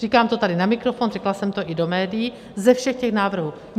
Říkám to tady na mikrofon, řekla jsem to i do médií, ze všech těch návrhů.